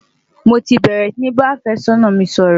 mọ tí bèrè sí bá afe sónà mí sòrò